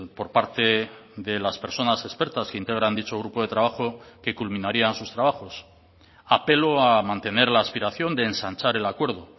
por parte de las personas expertas que integran dicho grupo de trabajo que culminarían sus trabajos apelo a mantener la aspiración de ensanchar el acuerdo